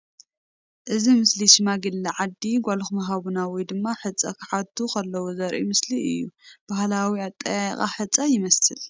እዚ ምስሊ ሽማግለ ዓዲ ጛልኩም ሃቡና ውይ ድማ ሕፀ ኽሓቱ ክለዉ ዘርኢ ምስሊ እዩ ።ባህላዊ ኣጠያይቃ ሕፀ ኒ ይመስል ።